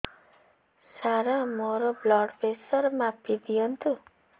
ସାର ମୋର blood pressure ମାପି ଦିଅନ୍ତୁ